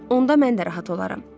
Onda mən də rahat olaram.